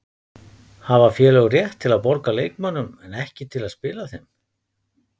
Hafa félög rétt til að borga leikmönnum en ekki til að spila þeim?